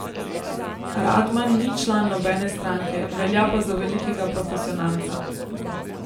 Radman ni član nobene stranke, velja pa za velikega profesionalca.